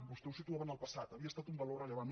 vostè ho situava en el passat havia estat un valor rellevant